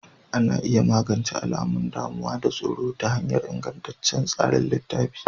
Ana iya magance alamun damuwa da tsoro ta hanyar ingantaccen tsarin tallafi.